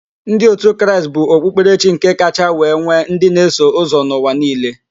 Ndị otu Kraịst bụ okpukperechi kacha wee nwe ndị na-eso ụzọ n'ụwa niile.